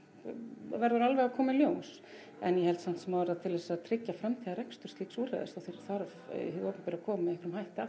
verður alveg að koma í ljós en ég held samt sem áður að til þess að tryggja framtíðarrekstur slíks úrræðis þá þarf hið opinbera að koma með einhverjum hætti að